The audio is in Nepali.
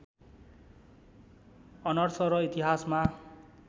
अनर्स र इतिहासमा